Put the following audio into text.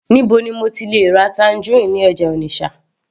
níbo ni mo ti le ra tangerine ní ọjà Onitsha